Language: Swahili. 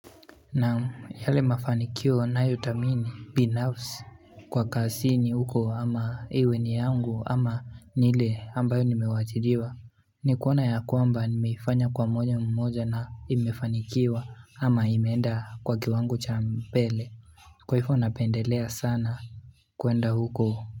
Na yale mafanikio nayo tamini binafsi Kwa kasi ni huko ama iwe ni yangu ama nile ambayo nimewachiriwa ni kuona ya kwamba nimeifanya kwa mwenye mmoja na imefanikiwa ama imeenda kwa kiwangu cha mpele Kwa hifo unapendelea sana kuenda huko.